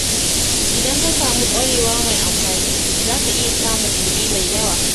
Idan ka samu ƙwarewa mai amfani, za ka iya samun kuɗi mai yawa.